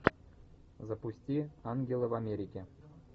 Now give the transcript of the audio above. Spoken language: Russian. запусти ангелы в америке